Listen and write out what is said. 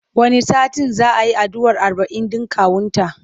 Wani satin za a yi addu'ar arba'in ɗin kawunta.